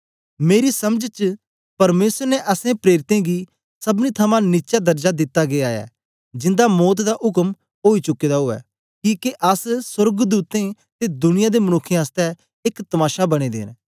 मेरी समझ च परमेसर ने असैं प्रेरितें गी सबनी थमां नीचा दरजा दिता गीया ऐ जिन्दा मौत दा उक्म ओई चुके दा उवै किके अस सोर्गदूतें ते दुनिया दे मनुक्खें आसतै एक तमाशा बनें दे न